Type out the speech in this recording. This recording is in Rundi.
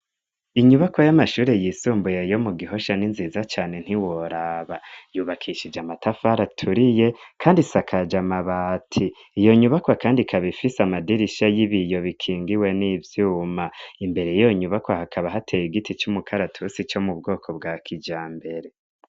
Inyubako y'amashuri yisumbuye yo mu Gihosha n'inziza cane ntiworaba. Yubakishije amatafari aturiye, kandi isakaje amabati. Iyo nyubakwa kandi ikaba ifise amadirisha y'ibiyo bikingiwe n'ivyuma. Imbere y'iyo nyubakwa, hakaba hateye igiti c'umukaratusi co mu bwoko bwa kijambere.